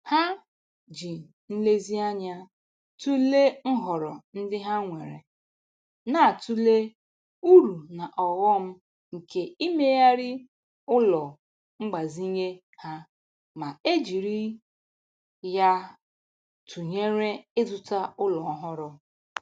Ha ji nlezianya tụlee nhọrọ ndị ha nwere, na-atụle uru na ọghọm nke imeghari ụlọ mgbazinye ha ma e jiri ya tụnyere ịzụta ụlọ ọhụrụ